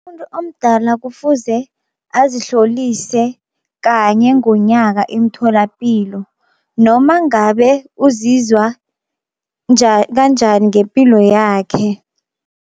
Umuntu omdala kufuze azihlolise kanye ngonyaka imtholapilo, noma ngabe uzizwa kanjani ngepilo yakhe.